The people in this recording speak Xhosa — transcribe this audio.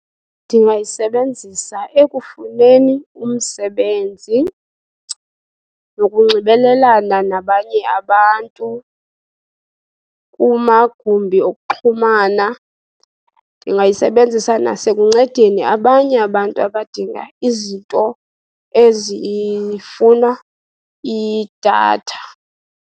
Ndingayisebenzisa ekufuneni umsebenzi nokunxibelelana nabanye abantu kumagumbi okuxhumana. Ndingayisebenzisa nasekuncedeni abanye abantu abadinga izinto ezifuna idatha.